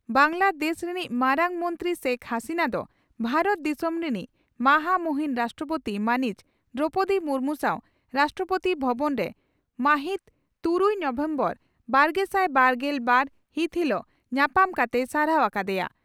ᱵᱟᱝᱜᱞᱟ ᱫᱮᱥ ᱨᱤᱱᱤᱡ ᱢᱟᱨᱟᱝ ᱢᱚᱱᱛᱨᱤ ᱥᱮᱠ ᱦᱟᱹᱥᱤᱱᱟᱹ ᱫᱚ ᱵᱷᱟᱨᱚᱛ ᱫᱤᱥᱚᱢ ᱨᱤᱱᱤᱡ ᱢᱟᱦᱟ ᱢᱩᱦᱤᱱ ᱨᱟᱥᱴᱨᱚᱯᱳᱛᱤ ᱢᱟᱹᱱᱤᱡ ᱫᱨᱚᱣᱯᱚᱫᱤ ᱢᱩᱨᱢᱩ ᱥᱟᱣ ᱨᱟᱥᱴᱨᱚᱯᱳᱛᱤ ᱵᱷᱚᱵᱚᱱ ᱨᱮ ᱢᱟᱹᱦᱤᱛᱩᱨᱩᱭ ᱱᱚᱵᱷᱮᱢᱵᱚᱨ ᱵᱟᱨᱜᱮᱥᱟᱭ ᱵᱟᱨᱜᱮᱞ ᱵᱟᱨ ᱦᱤᱛ ᱦᱤᱞᱚᱜ ᱧᱟᱯᱟᱢ ᱠᱟᱛᱮᱭ ᱥᱟᱨᱦᱟᱣ ᱟᱠᱟ ᱫᱮᱭᱟ ᱾